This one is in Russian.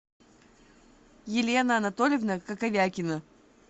елена анатольевна коковякина